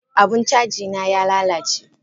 Abun cajina y lalace.